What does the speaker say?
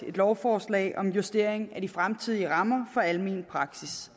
lovforslag om en justering af de fremtidige rammer for almen praksis